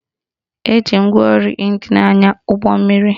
Eji ngwaọrụ ịnjin anya ụgbọmmiri